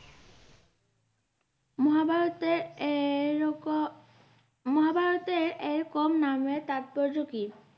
মহাভারতের এই- রকম মহাভারতের এরকম নামের তাৎপর্য কি?